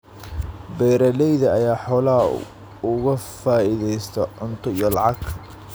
Beeralayda ayaa xoolaha uga faa�iidaysta cunto iyo lacag.